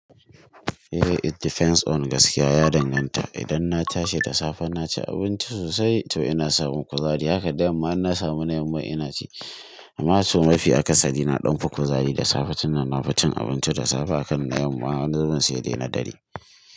Eh it depends on gaskiya ya danganta. Idan na tashi da safe naci abinci sosai to ina samun kuzari haka da yamma in na samu na yamma ina ci. Amma to mafi akasari ina ɗanfa kuzari da safe tunda nafi cin abinci da safe akan na yamma har zuwa sai dai na dare.